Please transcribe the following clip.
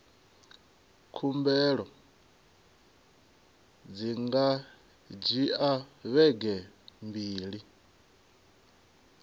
khumbelo dzi nga dzhia vhege mbili